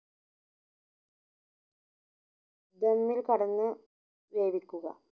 ദമ്മിൽ കടന്ന് വേവിക്കുക